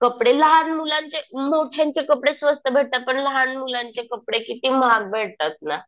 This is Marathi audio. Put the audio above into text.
कपडे लहान मुलांचे, मोठ्यांचे कपडे स्वस्त भेटतात. पण लहान मुलांचे कपडे किती महाग भेटतात ना.